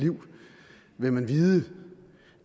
vigtigheden